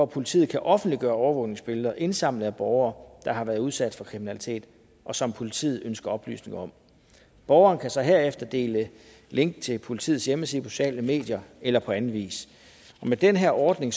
politiet kan offentliggøre overvågningsbilleder indsamlet af borgere der har været udsat for kriminalitet og som politiet ønsker oplysninger om borgeren kan så herefter dele link til politiets hjemmeside på de sociale medier eller på anden vis med den her ordning